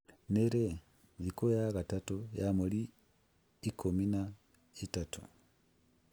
nĩ rĩ, thikũ ya gatatũ ya mweri ikũmi na ĩtatũ?